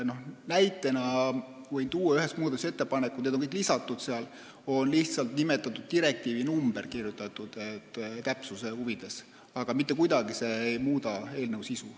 Näitena võin tuua ühe muudatusettepaneku – need kõik on sinna lisatud –, kus on lihtsalt täpsuse huvides nimetatud direktiivi numbrit, mis aga ei muuda mitte kuidagi eelnõu sisu.